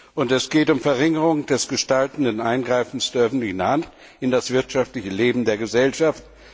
Und es geht um die Verringerung des gestaltenden Eingreifens der öffentlichen Hand in das wirtschaftliche Leben der Gesellschaft.